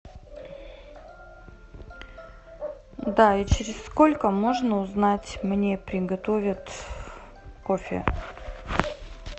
да и через сколько можно узнать мне приготовят кофе